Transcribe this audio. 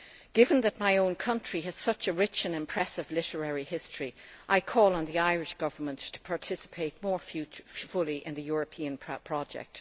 Given that my own country has such a rich and impressive literary history, I call on the Irish Government to participate more fully in the Europeana project.